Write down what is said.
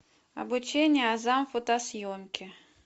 обучение азам фотосъемки